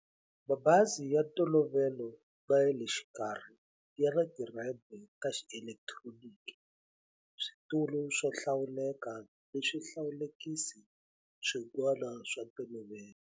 Mabazi ya ntolovelo na ya le xikarhi ya na tirhempe ta xielekitironiki, switulu swo hlawuleka na swihlawulekisi swin'wana swa ntolovelo.